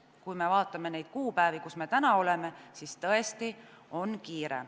Kui me vaatame kuupäevi, siis näeme, et tõesti on kiire.